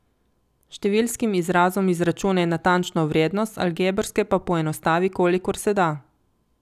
Številskim izrazom izračunaj natančno vrednost, algebrske pa poenostavi, kolikor se da.